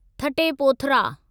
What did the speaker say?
थटे Pothra